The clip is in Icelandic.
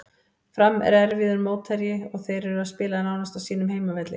Fram er erfiður mótherji og þeir eru að spila nánast á sínum heimavelli.